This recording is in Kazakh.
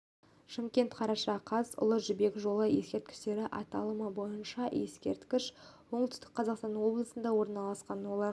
шымкент қараша қаз ұлы жібек жолы ескерткіштері аталымы бойынша ескерткіш оңтүстік қазақстан облысында орналасқан олар сауран